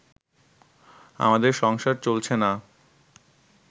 আমাদের সংসার চলছে না